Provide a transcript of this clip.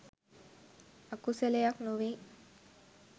අකුසලයක් නොවෙයි